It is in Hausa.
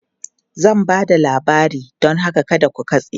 Zan ba da labari don haka kada ku katse!